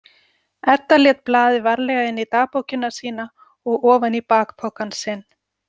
Edda lét blaðið varlega inn í dagbókina sína og ofan í bakpokann sinn.